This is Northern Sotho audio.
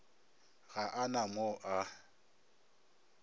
ga a na mo a